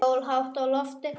Sól hátt á lofti.